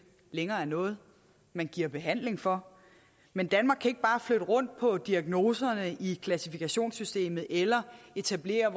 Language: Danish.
længere noget man giver behandling for men danmark kan ikke bare flytte rundt på diagnoserne i klassifikationssystemet eller etablere